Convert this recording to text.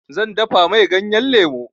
Zan dafa mai ganyan lemu.